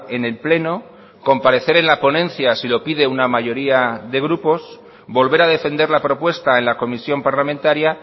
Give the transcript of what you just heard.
en el pleno comparecer en la ponencia si lo pide una mayoría de grupos volver a defender la propuesta en la comisión parlamentaria